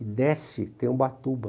E desce, tem Ubatuba.